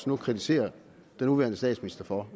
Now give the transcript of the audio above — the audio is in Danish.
nu kritiserer den nuværende statsminister for